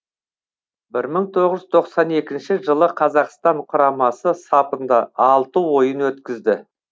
бір мың тоғыз жүз тоқсан екінші жылы қазақстан құрамасы сапында алты ойын өткізді